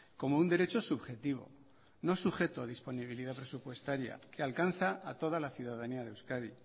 como un derecho subjetivo no sujeto a disponibilidad presupuestaria que alcanza a toda la ciudadanía de euskadi